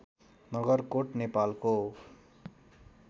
नगरकोट नेपालको